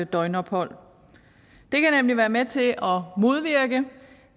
døgnophold det kan nemlig være med til at modvirke